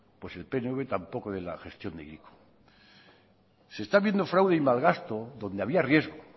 pues el pnv tampoco de la gestión de hiriko se está viendo fraude y malgasto donde había riesgo